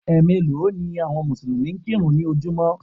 Ẹ̀ meèló ni àwọn Mùsùlùmí ń kírun ní ojúmọ́